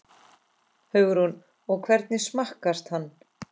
Hugrún: Og hvernig smakkast hann?